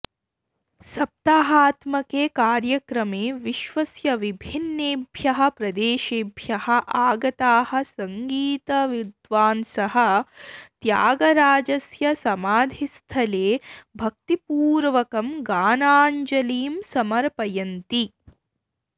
सप्ताहात्मके कार्यक्रमे विश्वस्य विभिन्नेभ्यः प्रदेशेभ्यः आगताः सङ्गीतविद्वांसः त्यागराजस्य समाधिस्थले भक्तिपूर्वकं गानाञ्जलिं समर्पयन्ति